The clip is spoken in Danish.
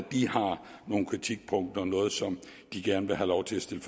nogle kritikpunkter noget som de gerne vil have lov til at stille